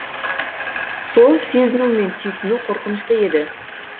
сол сезіну мен түйсіну қорқынышты еді